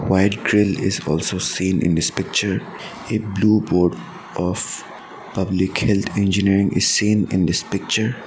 White grill is also seen in this picture a blue board of public health engineering is seen in this picture.